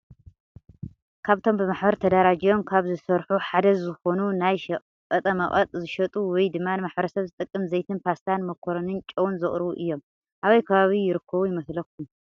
ካበ እቶም ብማሕበር ተዳራጅዮም ካብ ዝሰርሑ ሓደ ዝኮኑ ናይ ሸቀጠቀ መቀጥ ዝሸጡ ወየ ድማ ንማሕበረሰብ ዝጠቅም ዘይቲን ፓስታነ መኮሮኒን ጨውንን ዘቅርቡ እዮም። ኣበይ ከባቢ ይርከቡ ይመስለኩም?